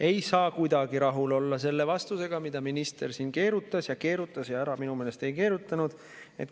Ei saa kuidagi rahul olla selle vastusega, mida minister siin keerutas ja keerutas ja ära minu meelest ei keerutanud.